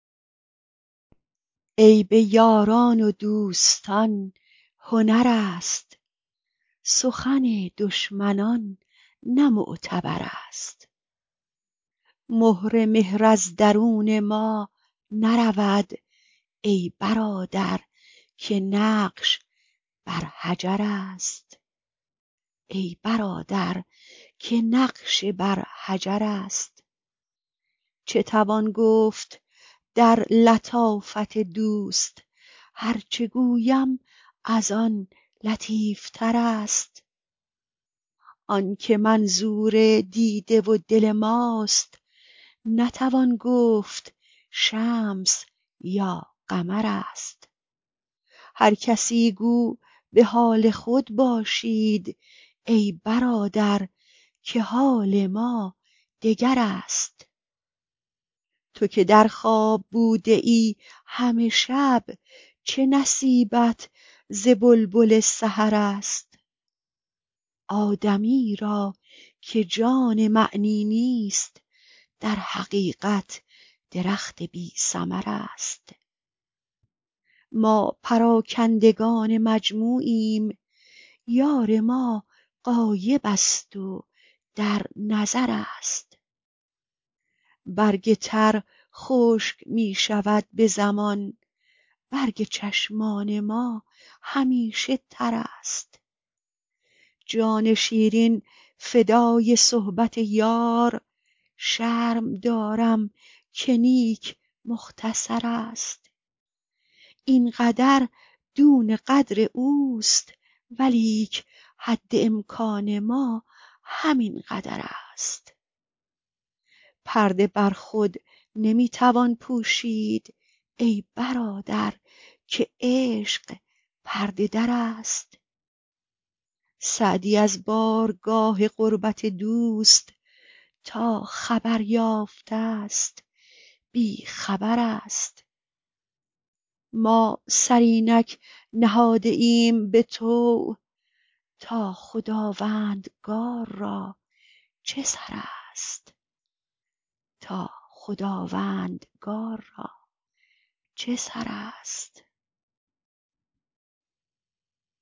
عیب یاران و دوستان هنر است سخن دشمنان نه معتبر است مهر مهر از درون ما نرود ای برادر که نقش بر حجر است چه توان گفت در لطافت دوست هر چه گویم از آن لطیف تر است آن که منظور دیده و دل ماست نتوان گفت شمس یا قمر است هر کسی گو به حال خود باشید ای برادر که حال ما دگر است تو که در خواب بوده ای همه شب چه نصیبت ز بلبل سحر است آدمی را که جان معنی نیست در حقیقت درخت بی ثمر است ما پراکندگان مجموعیم یار ما غایب است و در نظر است برگ تر خشک می شود به زمان برگ چشمان ما همیشه تر است جان شیرین فدای صحبت یار شرم دارم که نیک مختصر است این قدر دون قدر اوست ولیک حد امکان ما همین قدر است پرده بر خود نمی توان پوشید ای برادر که عشق پرده در است سعدی از بارگاه قربت دوست تا خبر یافته ست بی خبر است ما سر اینک نهاده ایم به طوع تا خداوندگار را چه سر است